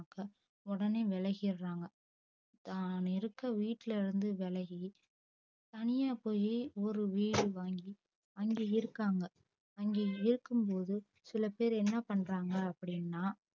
உடனே விலகிட்றாங்க அஹ் நெருக்க வீட்ல இருந்து விலகி தனியா போயி ஒரு வீடு வாங்கி அங்கே இருக்காங்க அங்கே இருக்கு போதும் சில பேர் என்ன பன்றாங்க அப்டின்னா